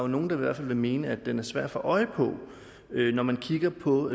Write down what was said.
nogle der vil mene at den er svær at få øje på når man kigger på